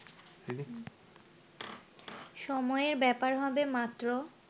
সময়ের ব্যাপার হবে মাত্র